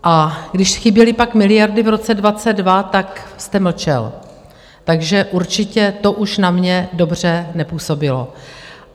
A když chyběly pak miliardy v roce 2022, tak jste mlčel, takže určitě to už na mě dobře nepůsobilo.